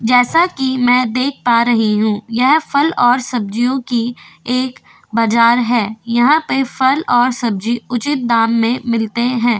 जैसा की में देख पा रही हु यह फल और सब्जीयो की एक बाजार है यहा पे फल और सब्जी उचीत दाम में मिलते है।